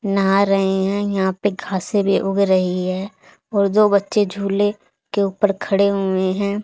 नहा रहे हैं यहां पे घासे भी उग रही है और जो बच्चे झूले के ऊपर खड़े हुए हैं।